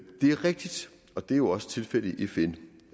er rigtigt og det er jo også tilfældet i fn